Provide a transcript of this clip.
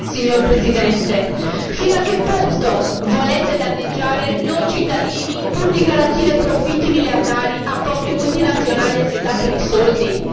Signor Presidente, fino a che punto volete danneggiare noi cittadini, pur di garantire profitti miliardari a poche multinazionali assetate di soldi?